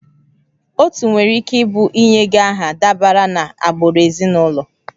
Otu nwere ike ịbụ ịnye gị aha dabere na agbụrụ ezinụlọ